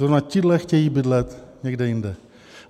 Zrovna tihle chtějí bydlet někde jinde.